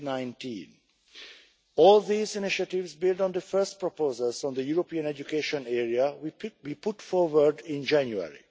of 2019. All these initiatives build on the first proposals on the European education area we put forward in January.